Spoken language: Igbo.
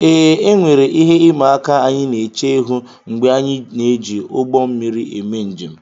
ee, e nwere ihe ịma aka anyị na-eche ihu mgbe anyị na-eji ụgbọ mmiri eme njem